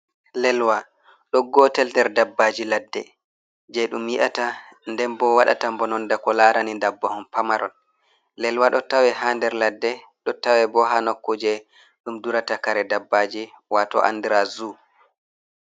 Lelwa ɗo gotel nder dabbaji ladde je dum yi'ata, nden bo wadata bononda, ko larani dabbahon pamaron, lelwa ɗo tawe ha der ladde, ɗo tawe bo ha nokku je ɗum durata kare dabbaji wato andira zu.